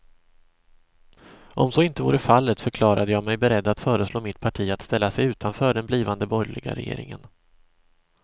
Om så inte vore fallet förklarade jag mig beredd att föreslå mitt parti att ställa sig utanför den blivande borgerliga regeringen.